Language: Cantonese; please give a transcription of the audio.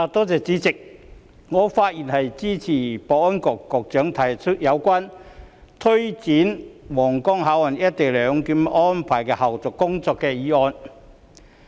主席，我發言支持保安局局長提出有關推展皇崗口岸「一地兩檢」安排的後續工作的議案。